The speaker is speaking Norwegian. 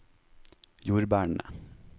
jordbærene